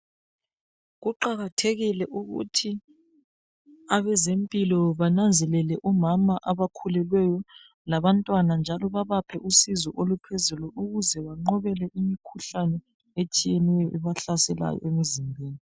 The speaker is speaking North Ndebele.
Kuqakathekile ukuthi abezempilo bananzelele omama abakhulelweyo labantwana njalo babaphe usizo oluphezulu ukuze banqobele imikhuhlane etshiyeneyo ebahlaselayo emizimbeni.